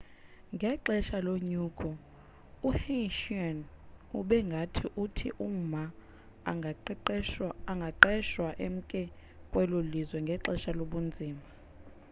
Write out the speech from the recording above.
ngexesha lonyulo uhsieh ube ngathi uthi uma angaqhwesha emke kwelo lizwe ngexesha lobunzima